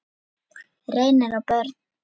Reynir og börn.